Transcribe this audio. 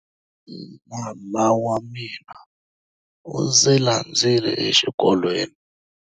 Nala wa mina u ndzi landzile exikolweni.